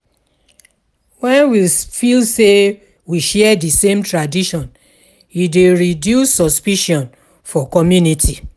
When we feel sey we share di same tradition e dey reduce suspicion for community